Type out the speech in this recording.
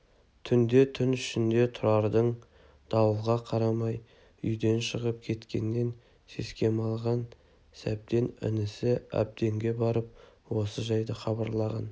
түнде түн ішінде тұрардың дауылға қарамай үйден шығып кеткенінен секем алған сәбден інісі әбденге барып осы жайды хабарлаған